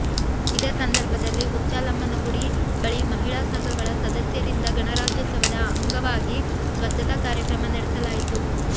ಇದೇ ಸಂದರ್ಭದಲ್ಲಿ ಹುಚ್ಚಾಲಮ್ಮನಗುಡಿ ಬಳಿ ಮಹಿಳಾ ಸಂಘಗಳ ಸದಸ್ಯರಿಂದ ಗಣರಾಜ್ಯೋತ್ಸವದ ಅಂಗವಾಗಿ ಸ್ವಚ್ಚತಾ ಕಾರ್ಯಕ್ರಮ ನಡೆಸಲಾಯಿತು